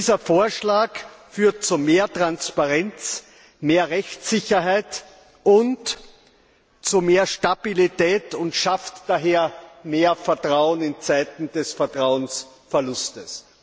Dieser Vorschlag führt zu mehr Transparenz, mehr Rechtssicherheit und zu mehr Stabilität und schafft daher mehr Vertrauen in Zeiten des Vertrauensverlustes.